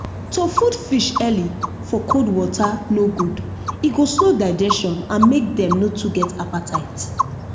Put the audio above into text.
to food fish early for cold water no good e go slow digestion and make dem no too get appetite